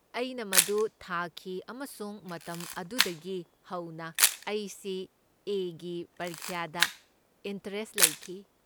ꯑꯩꯅ ꯃꯗꯨ ꯊꯥꯈꯤ ꯑꯃꯁꯨꯡ ꯃꯇꯝ ꯑꯗꯨꯗꯒꯤ ꯍꯧꯅ ꯑꯩ ꯁꯤ. ꯑꯦ. ꯒꯤ ꯄꯔꯤꯈ꯭ꯌꯥꯗ ꯏꯟꯇꯔꯦꯁꯠ ꯂꯩꯈꯤ꯫